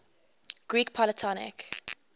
greek polytonic